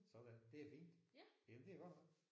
Sådan det er fint. Jamen det er godt nok